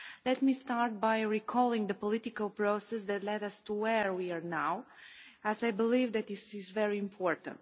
Let me start by recalling the political process that led us to where we are now, as I believe this is very important.